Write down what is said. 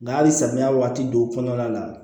Nga hali samiya waati don kɔnɔna la